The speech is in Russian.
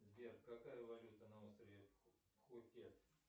сбер какая валюта на острове пхукет